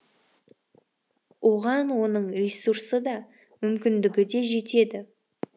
оған оның ресурсы да мүмкіндігі де жетеді